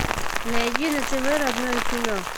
найди на тв родное кино